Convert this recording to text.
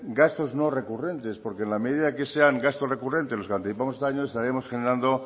gastos no recurrentes porque en la medida que sean gastos recurrentes los que anticipamos cada año estaríamos generando